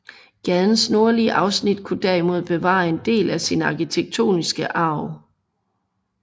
Gadens nordlige afsnit kunne derimod bevare en del af sin arkitektoniske arv